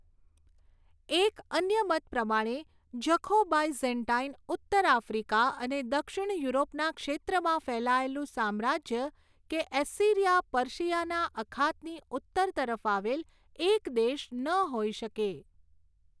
એક અન્ય મત પ્રમાણે જખો બાયઝૅન્ટાઈન ઉત્તર આફ્રિકા અને દક્ષિણ યુરોપના ક્ષેત્રમાં ફેલાયેલું સામ્રાજ્ય કે એસ્સિરિયા પર્શિયાના અખાતની ઉત્તર તરફ આવેલ એક દેશ ન હોઈ શકે.